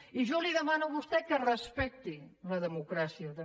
i jo li demano a vostè que respecti la democràcia també